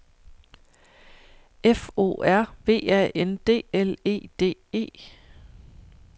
F O R V A N D L E D E